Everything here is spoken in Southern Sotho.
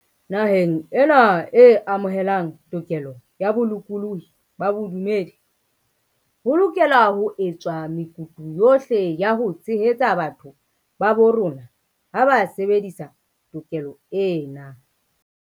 Naheng ena e amohelang tokelo ya bolokolohi ba bodumedi, ho lokelwa ho etswa mekutu yohle ya ho tshehetsa batho ba bo rona ha ba sebedisa to kelo ena.